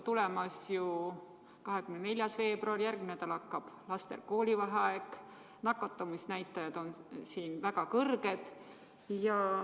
Tulemas on 24. veebruar, järgmine nädal algab lastel koolivaheaeg, nakatumisnäitajad on siin väga kõrged.